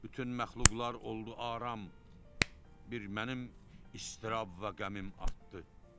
Bütün məxluqlar oldu aram, bir mənim istirab və qəmim artdı.